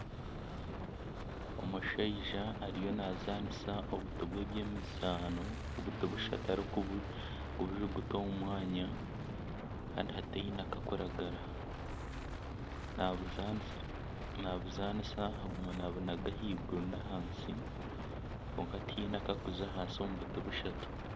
Omushaija ariyo naazanisa obuti bw'ebyemizaano obuti bushatu arikubujuguta omu mwanya kandi hataine kakuragara. Nabuzaanisa, nabuzaanisa aguma naabunaga ahaiguru n'ahansi kwonka tihaine akakuza ahansi omu buti bushatu.